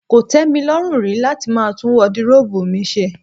Kò tẹ́ mi lọ́rùn rí láti máa tún wọdiróòbù mi ṣe.